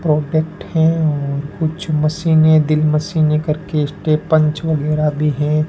Product है और कुछ मशीने ड्रिल मशीने स्टे पंच वगेर भी है।